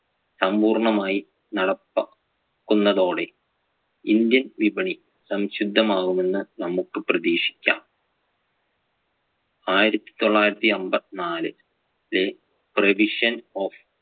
സമ്പുർണമായി നടപ്പാകുന്നതോടെ ഇന്ത്യന്‍ വിപണി സംശുദ്ധമാകും എന്ന് നമുക്ക് പ്രേതീക്ഷിക്കാം. ആയിരത്തിതൊള്ളായിരത്തി അമ്പത്തിനാല്~ ലെ provision of